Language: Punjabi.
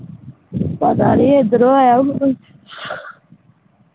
ਪਤਾ ਨਹੀਂ ਐਂਡ੍ਰੋ ਆਯਾ ਹੁਨਾ ਕੋਈ